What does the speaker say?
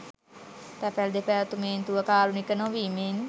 තැපැල් දෙපාර්තමේන්තුව කාරුණික නොවීමෙන්